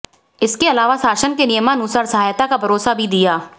इसके अलावा शासन के नियमानुसार सहायता का भरोसा भी दिया